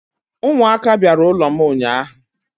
umuaka biara n'ulom unyanya